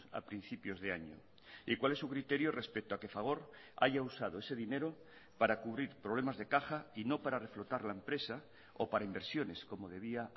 a principios de año y cuál es su criterio respecto a que fagor haya usado ese dinero para cubrir problemas de caja y no para reflotar la empresa o para inversiones como debía